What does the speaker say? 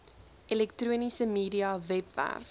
elektroniese media webwerf